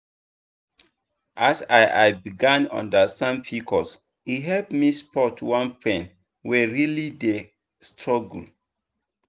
as i i begin understand pcos e help me support one friend wey really dey struggle.